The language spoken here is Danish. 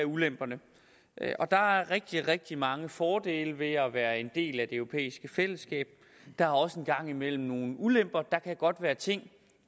ulemperne der er rigtig rigtig mange fordele ved at være en del af det europæiske fællesskab der er også en gang imellem nogle ulemper der kan godt være ting